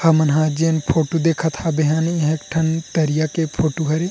हमन ह जेन फोटो देखत हाबे हन ये ह एक ठन तरिया के फोटो हरे--